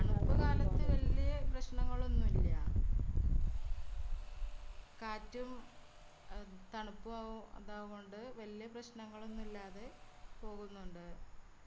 തണുപ്പ് കാലത്തു വെല്യ പ്രശ്നങ്ങളൊന്നുല്ല. കാറ്റും അ തണുപ്പു ആവു അതാവുന്നോണ്ട് വെല്യ പ്രശ്നങ്ങളൊന്നു ഇല്ലാതെ പോകുന്നുണ്ട്.